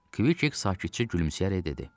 Kvik sakitcə gülümsəyərək dedi.